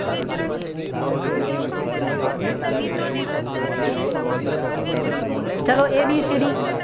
ચાલો A B C D